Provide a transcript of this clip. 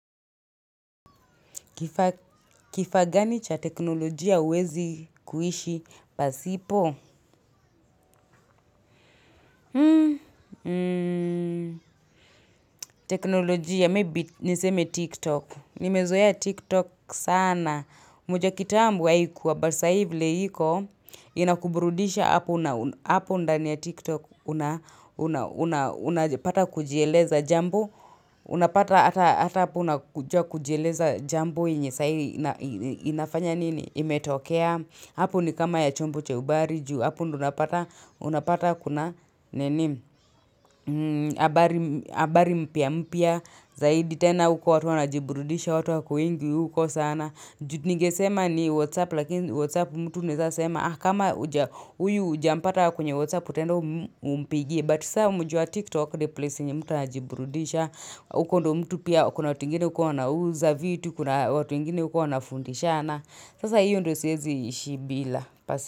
Kifagani cha teknolojia huwezi kuhishi pasipo? Teknolojia, maybe niseme TikTok. Nimezoea TikTok sana. Moja kitambo haikuwa but sai vile iko, inakuburudisha hapo ndani ya TikTok, unapata kujieleza jambo, unapata hata hapo unajua kujieleza jambo yenye, sai inafanya nini, imetokea. Hapo ni kama ya chombo cha ubari juu hapo ndio unapata kuna nini habari mpya zaidi tena huko watu wana jiburudisha watu wako wengi huko sana ningesema ni whatsapp lakini whatsapp mtu anaeza sema ah kama huyu huja mpata kwenye whatsapp utaenda umpigie but saa mujua tiktok ni place yenye mtu anajiburudisha huko ndo mtu pia kuna watu wengine huko wana uza vitu kuna watu wengine huko wana fundishana Sasa hiyo ndio siwezi ishi bila.